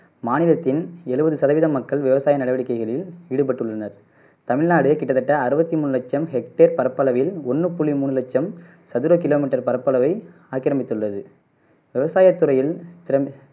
மாநிலத்தின் எழுவது சதவிகிதம் மக்கள் விவசாய நடவடிக்கைகளில் ஈடுபட்டுள்ளனர். தமிழ்நாடு கிட்டத்தட்ட அறுபத்து மூனு லட்சம் ஹெக்டர் பரப்பளவில் ஒண்ணு புள்ளி மூணு லட்சம் சதுர கிலோ மீட்டர் பரப்பளவை ஆக்கிரமித்துள்ளது விவசாய துறையில் திர